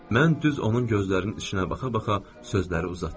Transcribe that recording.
mən düz onun gözlərinin içinə baxa-baxa sözləri uzatdım.